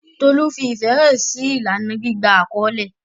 Tolu fi ìfẹ́ hàn sí ìlànà gbígba àkọ́lé.